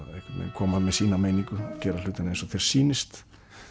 koma með sína meiningu gera hlutina eins og þér sýnist